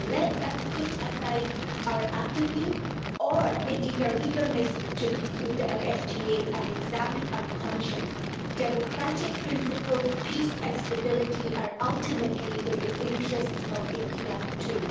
Let us put aside our apathy, or indeed our eagerness to conclude a free trade agreement, and examine our conscience democratic principles, peace and stability are ultimately in the interests of India too.